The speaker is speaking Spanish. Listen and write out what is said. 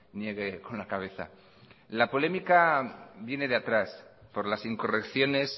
niegue con la cabeza la polémica viene de atrás por las incorrecciones